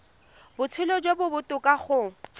botshelo jo bo botoka go